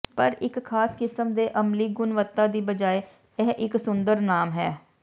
ਪਰ ਇੱਕ ਖਾਸ ਕਿਸਮ ਦੇ ਅਮਲੀ ਗੁਣਵੱਤਾ ਦੀ ਬਜਾਏ ਇਹ ਇੱਕ ਸੁੰਦਰ ਨਾਮ ਹੈ